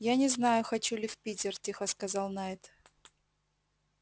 я не знаю хочу ли в питер тихо сказал найд